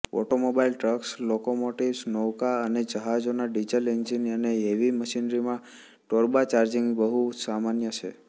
automobiles trucks locomotives નૌકા અને જહાજોના ડીઝલ એન્જિન અને હેવી મશિનરીમાં ટર્બોચાર્જિંગ બહુ સામાન્ય છે